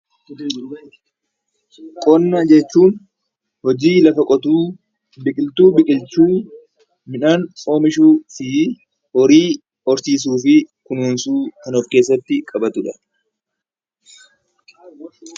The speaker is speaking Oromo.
Qonna jechuun hojii lafa qotuu , biqiltuu biqilchuu, midhaan oomishuu fi horii horsiisuu fi kunuunsiu kan of keessatti qabatudha.